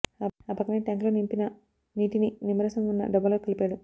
ఆ పక్కనే ట్యాంక్ లో నింపిన నీటిని నిమ్మరసం ఉన్న డబ్బాలో కలిపాడు